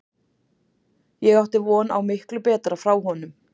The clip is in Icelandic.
Ég átti von á miklu betra frá honum.